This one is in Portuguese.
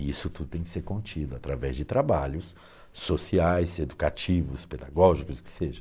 E isso tudo tem que ser contido através de trabalhos sociais, educativos, pedagógicos, que seja.